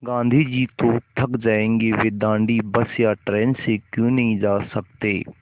गाँधी जी तो थक जायेंगे वे दाँडी बस या ट्रेन से क्यों नहीं जा सकते